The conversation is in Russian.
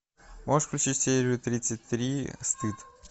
можешь включить серию тридцать три стыд